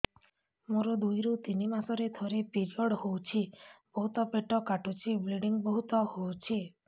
ମୋର ଦୁଇରୁ ତିନି ମାସରେ ଥରେ ପିରିଅଡ଼ ହଉଛି ବହୁତ ପେଟ କାଟୁଛି ବ୍ଲିଡ଼ିଙ୍ଗ ବହୁତ ହଉଛି